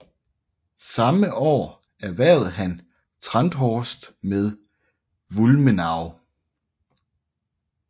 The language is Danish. Samme år erhvervede han Trenthorst med Wulmenau